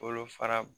Bolo fara